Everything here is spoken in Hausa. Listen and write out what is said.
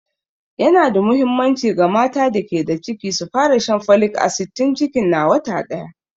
Yana da muhimmanci ga mata da ke da ciki su fara shan folic asid tun cikin na wata daya.